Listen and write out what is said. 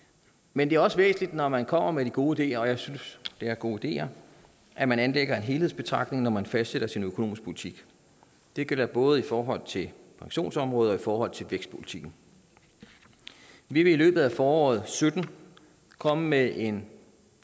men det er også væsentligt når man kommer med de gode ideer og jeg synes det er gode ideer at man anlægger en helhedsbetragtning når man fastsætter sin økonomiske politik det gælder både i forhold til pensionsområdet og i forhold til vækstpolitikken vi vil i løbet af foråret og sytten komme med en